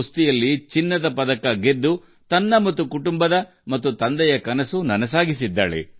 ಕುಸ್ತಿಯಲ್ಲಿ ಚಿನ್ನದ ಪದಕ ಗೆಲ್ಲುವ ಮೂಲಕ ತನು ತನ್ನ ಮತ್ತು ತನ್ನ ಕುಟುಂಬದ ಹಾಗೂ ತಂದೆಯ ಕನಸನ್ನು ನನಸಾಗಿಸಿದ್ದಾರೆ